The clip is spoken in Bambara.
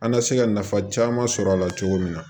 An ka se ka nafa caman sɔrɔ a la cogo min na